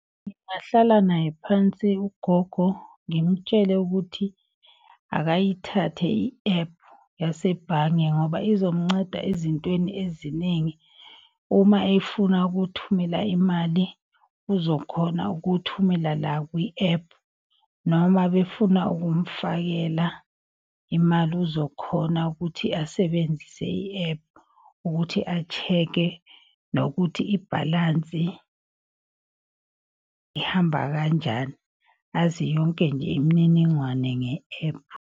Naye phansi ugogo, ngimtshele ukuthi akayithathe i-ephu yasebhange ngoba izomnceda ezintweni eziningi. Uma efuna ukuthumela imali, uzokhona ukuthumela la kwi-ephu noma befuna ukufakela imali. Uzokhona ukuthi asebenzise i-ephu ukuthi a-check-e nokuthi ibhalansi ihamba kanjani. Azi yonke nje imininingwane nge-ephu.